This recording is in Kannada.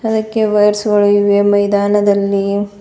ಅದಕ್ಕೆ ವೈರ್ಸ್ ಗಳು ಇವೆ ಮೈದಾನದಲ್ಲಿ--